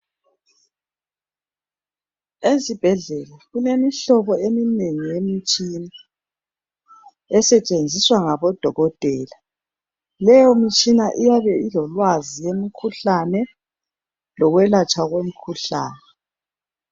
Ezibhedlela kulemihlobo eminengi yemitshina esetshenziswa ngabodokotela leyo mtshina iyabe ilolwazi yemikhuhlane lokwelatshwa komkhuhlane.